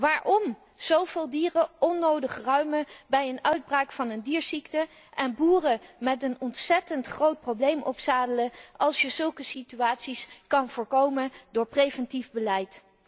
Waarom zoveel dieren onnodig ruimen bij uitbraak van een dierziekte en boeren met een ontzettend groot probleem opzadelen, als je zulke situaties ook kan voorkomen met preventief beleid?